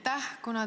Aitäh!